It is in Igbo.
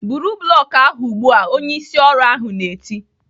"Buru blọk ahụ ugbu a!" Onye ịsị ọrụ ahụ na-eti.